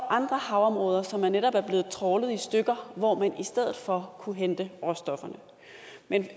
andre havområder som netop er blevet trawlet i stykker hvor man i stedet for kunne hente råstofferne men